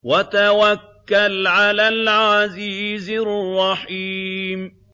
وَتَوَكَّلْ عَلَى الْعَزِيزِ الرَّحِيمِ